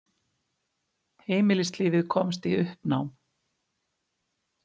Heimilislífið komst í uppnám.